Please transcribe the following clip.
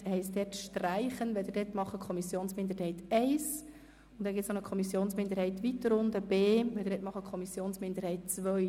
Bitte schreiben Sie dort «Kommissionsminderheit I» hin und weiter unten bei Artikel 31b «Kommissionsminderheit II».